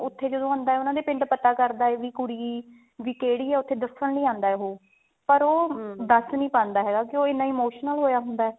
ਉੱਥੇ ਜਦੋਂ ਆਉਂਦਾ ਉਹਨਾ ਦੇ ਪਿੰਡ ਪਤਾ ਕਰਦਾ ਹੈ ਵੀ ਕੁੜੀ ਵੀ ਕਿਹੜੀ ਆ ਉੱਥੇ ਦੱਸਣ ਲਈ ਆਉਂਦਾ ਉਹ ਪਰ ਉਹ ਦੱਸ ਨੀ ਪਾਉਂਦਾ ਹੈਗਾ ਕਿਉਕਿ ਉਹ ਇੰਨਾ emotional ਹੋਇਆ ਹੁੰਦਾ